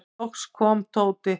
Loks kom Tóti.